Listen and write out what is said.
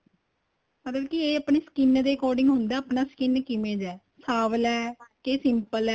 ਮਤਲਬ ਕੀ ਏ ਆਪਣੇ skin ਦੇ according ਹੁੰਦਾ ਆਪਣਾ skin ਕਿਵੇਂ ਦਾ ਏ ਸਾਂਵਲਾ ਏ ਕੇ simple